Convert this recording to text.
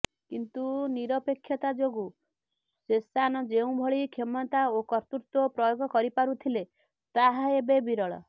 କିନ୍ତୁ ନିରପେକ୍ଷତା ଯୋଗୁ ଶେଷାନ ଯେଉଁଭଳି କ୍ଷମତା ଓ କର୍ତ୍ତୃତ୍ବ ପ୍ରୟୋଗ କରିପାରୁଥିଲେ ତାହା ଏବେ ବିରଳ